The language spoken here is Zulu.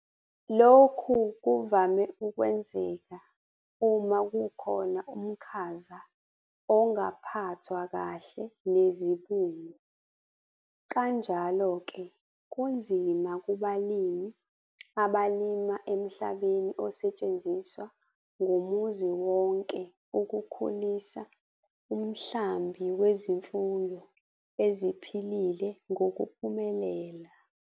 Lokhu kuvama ukwenzeka uma kukhona umkhaza ongaphathwanga kahle nezibungu - kanjalo ke kunzima kubalimi abalima emhlabeni osetshenziswa ngumuzi onke ukukhulisa umhlambi wezimfuyo eziphilile ngokuphumelela.